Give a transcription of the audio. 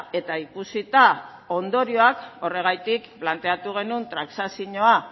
eta ikusita ondorioak horregatik planteatu genuen transakzioa